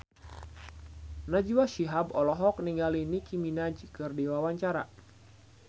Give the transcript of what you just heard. Najwa Shihab olohok ningali Nicky Minaj keur diwawancara